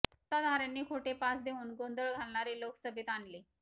सत्ताधाऱ्यांनी खोटे पास देवून गोंधळ घालणारे लोक सभेत आणले